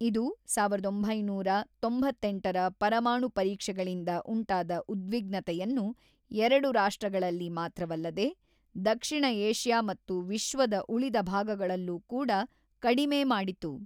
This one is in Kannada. ಇದು ಸಾವಿರದ ಒಂಬೈನೂರ ತೊಂಬತ್ತೆಂಟರ ಪರಮಾಣು ಪರೀಕ್ಷೆಗಳಿಂದ ಉಂಟಾದ ಉದ್ವಿಗ್ನತೆಯನ್ನು, ಎರಡು ರಾಷ್ಟ್ರಗಳಲ್ಲಿ ಮಾತ್ರವಲ್ಲದೆ ದಕ್ಷಿಣ ಏಷ್ಯಾ ಮತ್ತು ವಿಶ್ವದ ಉಳಿದ ಭಾಗಗಳಲ್ಲೂ ಕೂಡ, ಕಡಿಮೆ ಮಾಡಿತು.